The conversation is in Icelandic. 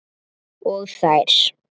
Og þær.